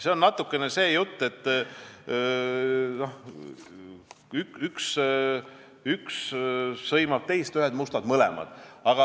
See on natukene samasugune jutt, et üks sõimab teist, ühed mustad mõlemad.